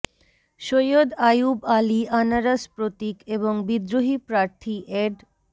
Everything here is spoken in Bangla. সৈয়দ আয়ুব আলী আনারস প্রতীক এবং বিদ্রোহী প্রার্থী এড